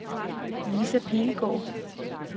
Lisa Pilgaard